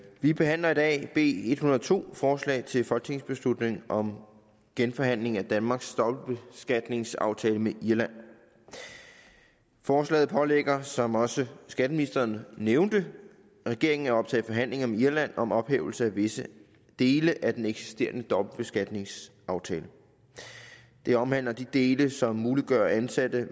vi behandler i dag b en hundrede og to forslag til folketingsbeslutning om genforhandling af danmarks dobbeltbeskatningsaftale med irland forslaget pålægger som også skatteministeren nævnte regeringen at optage forhandlinger med irland om ophævelse af visse dele af den eksisterende dobbeltbeskatningsaftale det omhandler de dele som muliggør at ansatte